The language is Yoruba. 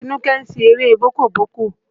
Atínúké ń ṣeré bọ́ọ́kọ́ bọ́ọ̀kọ